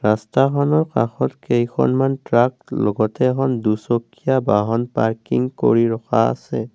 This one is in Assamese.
ৰাস্তাখনৰ কাষত কেইখনমান ট্ৰাক লগতে এখন দুচকীয়া বাহন পাৰ্কিং কৰি ৰখা আছে।